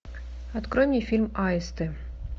открой мне фильм аисты